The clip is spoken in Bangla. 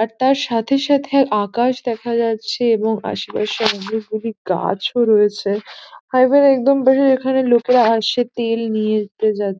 আর তার সাথে সাথে আকাশ দেখা যাচ্ছে এবং আশেপাশে অনেকগুলি গাছও রয়েছে আর এখানে একদম বেশী এখানে লোকেরা আসে তেল নিয়ে নিতে যাতে --